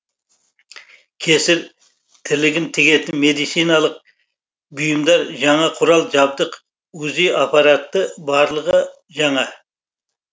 кесір тілігін тігетін медициналық бұйымдар жаңа құрал жадбық узи аппараты барлығы жаңа